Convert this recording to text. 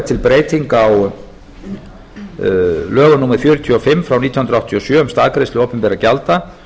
er til breyting á lögum númer fjörutíu og fimm nítján hundruð áttatíu og sjö um staðgreiðslu opinberra gjalda